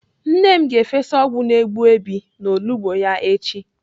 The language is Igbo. Nne m ga-efesa ọgwụ na-egbu Èbè n'olugbo ya echi.